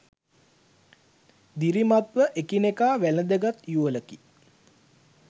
දිරිමත්ව එකිනෙකා වැලඳ ගත් යුවලකි